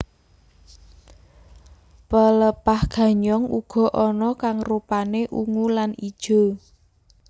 Pelepah ganyong uga ana kang rupané ungu lan ijo